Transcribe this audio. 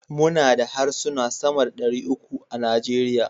muna da harsuna sama da dari uku a Najeriya